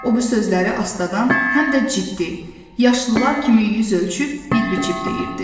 O bu sözləri astadan, həm də ciddi, yaşlılar kimi yüz ölçüb bir biçib deyirdi.